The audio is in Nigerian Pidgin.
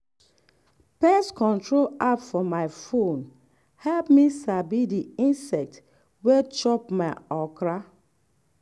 pest control app for phone help me sabi di insect wey chop my okra.